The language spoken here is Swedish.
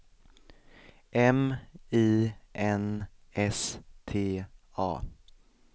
M I N S T A